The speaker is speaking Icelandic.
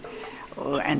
en